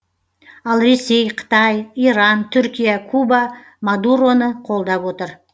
ал ресей қытай иран түркия куба мадуроны қолдап отыр